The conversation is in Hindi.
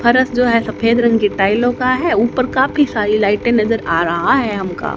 फरश जो है सफेद रंग के टाइलों का है ऊपर काफी सारी लाइटें नजर आ रहा है हमका।